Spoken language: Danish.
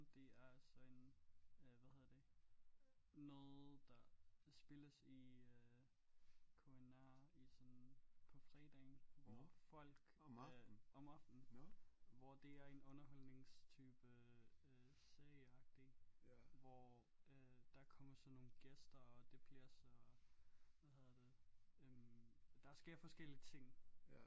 Det er så en øh hvad hedder det noget der spilles i øh på en øh i sådan en på fredagen hvor folk om aftenen hvor det er en underholdningstype øh serieagtig hvor øh der kommer sådan nogle gæster og det bliver så hvad hedder det øh der sker forskellige ting